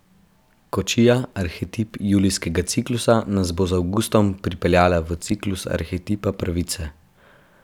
Kočija, arhetip julijskega ciklusa, nas bo z avgustom pripeljala v ciklus arhetipa Pravice.